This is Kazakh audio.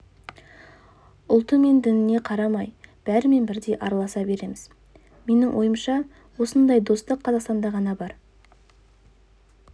ұлты мен дініне қарамай бәрімен бірдей араласа береміз менің ойымша осындай достық қазақстанда ғана бар